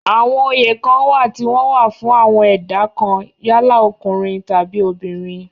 àwọn oyè kan wà tí wọ́n wà fún àwọn ẹ̀dá kan yálà ọkùnrin tàbi obìnrin